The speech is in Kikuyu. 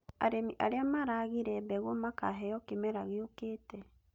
Arĩmi arĩa maragire mbegũ makaheo kĩmera gĩũkĩte